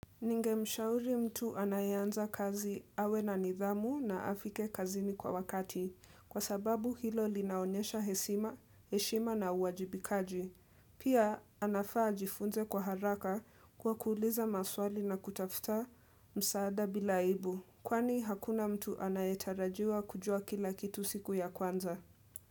Ningemshauri mtu anayeanza kazi awe na nidhamu na afike kazini kwa wakati kwa sababu hilo linaonyesha heshima, heshima na uwajibikaji. Pia anafaa ajifunze kwa haraka kwa kuuliza maswali na kutafuta msaada bila aibu kwani hakuna mtu anayetarajiwa kujua kila kitu siku ya kwanza.